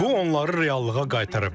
Bu onları reallığa qaytara bilər.